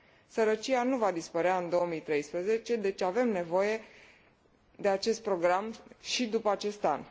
Sărăcia nu va dispărea în 2013, deci avem nevoie de acest program și după acest an.